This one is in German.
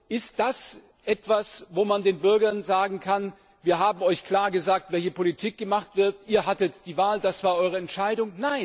Ist das etwas, wo man den Bürgern sagen kann Wir haben euch klar gesagt, welche Politik gemacht wird, ihr hattet die Wahl, das war eure Entscheidung?